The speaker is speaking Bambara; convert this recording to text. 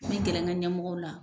Mi gɛlɛ n ka ɲɛmɔgɔw la.